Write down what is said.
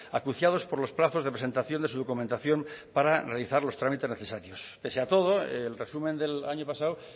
acuciados por los plazos de presentación de su documentación para realizar los trámites necesarios pese a todo el resumen del año pasado